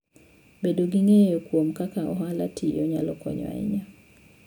Bedo gi ng'eyo kuom kaka ohalano tiyo, nyalo konyo ahinya.